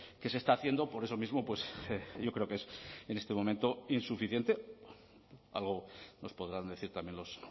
que se está haciendo por eso mismo yo creo que es en este momento insuficiente algo nos podrán decir también los